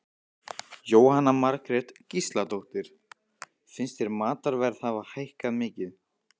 Jóhanna Margrét Gísladóttir: Finnst þér matarverð hafa hækkað mikið?